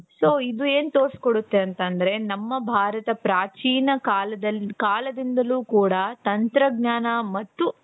so ಇದು ಏನ್ ತೋರಿಸಿಕೊಡುತ್ತೆ ಅಂತಂದ್ರೆ ನಮ್ಮ ಭಾರತ ಪ್ರಾಚೀನ ಕಾಲದಿಂದಲೂ ಕೂಡ ತಂತ್ರಜ್ಞಾನ ಮತ್ತು.